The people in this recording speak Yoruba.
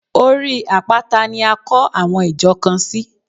Orí àpáta ni a kọ́ àwọn ìjọ kan sí.